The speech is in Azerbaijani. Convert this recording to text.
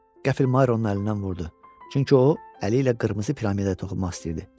Qəfil Mayr onun əlindən vurdu, çünki o əli ilə qırmızı piramidaya toxunmaq istəyirdi.